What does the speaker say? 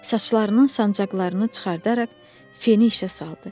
Saçlarının sancaqlarını çıxararaq feni işə saldı.